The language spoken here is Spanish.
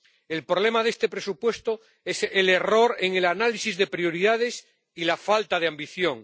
El problema de este presupuesto es el error en el análisis de las prioridades y la falta de ambición.